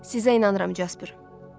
Sizə inanıram, Jasper.